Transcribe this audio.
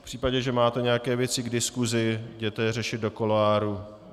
V případě, že máte nějaké věci k diskusi, jděte je řešit do kuloáru.